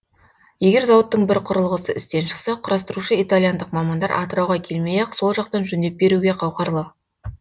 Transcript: егер зауыттың бір құрылғысы істен шықса құрастырушы итальяндық мамандар атырауға келмей ақ сол жақтан жөндеп беруге қауқарлы